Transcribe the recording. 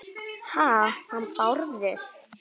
Ha- hann Bárður?